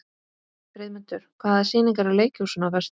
Friðmundur, hvaða sýningar eru í leikhúsinu á föstudaginn?